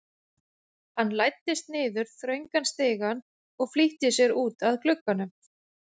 Hann læddist niður þröngan stigann og flýtti sér út að glugganum.